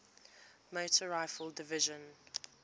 motor rifle division